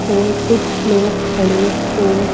और कुछ लोग खड़े और--